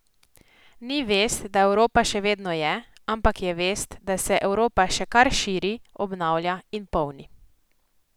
Ni vest, da Evropa še vedno je, ampak je vest, da se Evropa še kar širi, obnavlja in polni.